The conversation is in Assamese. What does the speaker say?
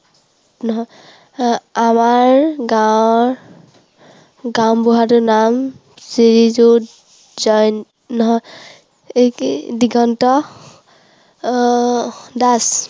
নহয়, আমাৰ গাঁৱৰ গাঁওবুঢ়াটোৰ নাম শ্ৰীযুত জয়, নহয় এইটো কি, দিগন্ত আহ দাস।